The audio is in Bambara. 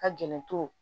Ka gɛlɛn